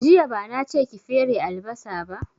Jiya bana che ki fere albasa ba